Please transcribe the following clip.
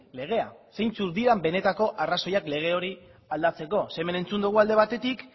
legea zeintzuk dira benetako arrazoiak lege hori aldatzeko ze hemen entzun dugu alde batetik